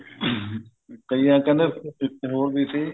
ਕਈ ਵਾਰ ਕਹਿੰਦੇ ਹੋਰ ਵੀ ਸੀ